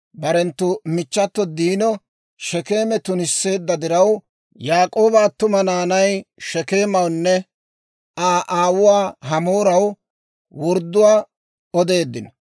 Barenttu michchato Diino Shekeeme tunisseedda diraw, Yaak'ooba attuma naanay Shekeemawunne Aa aawuwaa Hamooraw wordduwaa odeeddino;